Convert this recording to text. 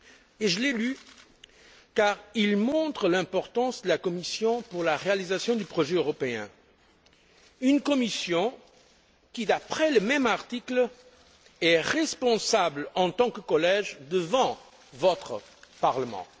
Et je l'ai lu car il montre l'importance de la Commission pour la réalisation du projet européen, une Commission qui, d'après le même article, est responsable en tant que collège devant votre Parlement.